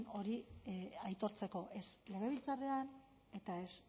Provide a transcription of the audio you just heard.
hori aitortzeko ez legebiltzarrean eta ez